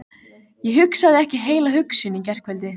Ég hugsaði ekki heila hugsun í gærkvöldi.